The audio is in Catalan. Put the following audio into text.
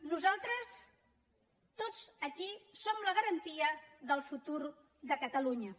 nosaltres tots aquí som la garantia del futur de catalunya